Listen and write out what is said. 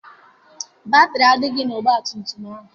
Batịrị adịghị na ọgbatumtum a.